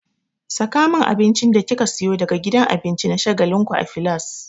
Saka min abincin da kika siyo daga gidan abinci na shagalinku a filas!